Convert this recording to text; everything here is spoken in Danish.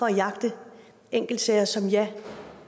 jagte enkeltsager som vi ja